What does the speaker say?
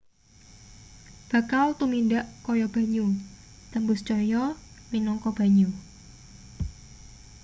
bakal tumindak kaya banyu tembus cahya minangka banyu